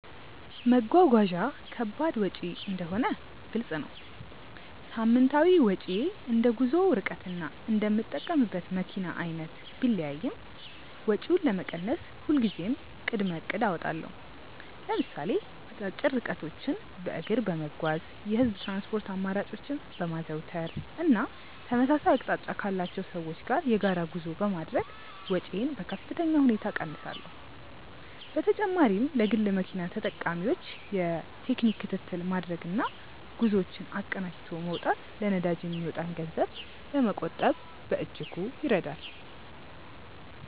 መጓጓዣ ከባድ ወጪ እንደሆነ ግልጽ ነው። ሳምንታዊ ወጪዬ እንደ ጉዞው ርቀትና እንደምጠቀምበት መኪና አይነት ቢለያይም፣ ወጪውን ለመቀነስ ሁልጊዜም ቅድመ እቅድ አወጣለሁ። ለምሳሌ አጫጭር ርቀቶችን በእግር በመጓዝ፣ የህዝብ ትራንስፖርት አማራጮችን በማዘውተር እና ተመሳሳይ አቅጣጫ ካላቸው ሰዎች ጋር የጋራ ጉዞ በማድረግ ወጪዬን በከፍተኛ ሁኔታ እቀንሳለሁ። በተጨማሪም ለግል መኪና ተጠቃሚዎች የቴክኒክ ክትትል ማድረግና ጉዞዎችን አቀናጅቶ መውጣት ለነዳጅ የሚወጣን ገንዘብ ለመቆጠብ በእጅጉ ይረዳል።